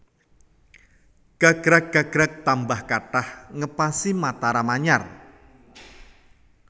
Gagrag gagrag tambah kathah ngepasi Mataram anyar